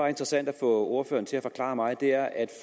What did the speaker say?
interessant at få ordføreren til at forklare mig er at